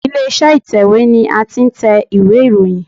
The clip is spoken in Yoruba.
Ilé iṣẹ́ ìtẹ̀wẹ́ ni a ti ń tẹ ìwé ìròyìn.